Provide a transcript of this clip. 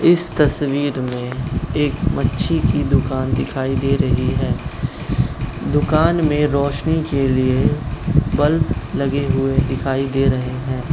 इस तस्वीर में एक मच्छी की दुकान दिखाई दे रही हैं दुकान में रोशनी के लिए बल्ब लगे हुए दिखाई दे रहे हैं।